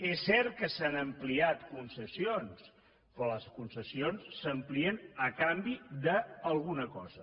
és cert que s’han ampliat concessions però les concessions s’amplien a canvi d’alguna cosa